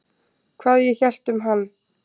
Hvað ég hélt um hann?